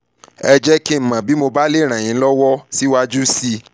ẹ jẹ́ kí n mọ̀ bí mo bá lè ràn yín lọ́wọ́ síwájú sí i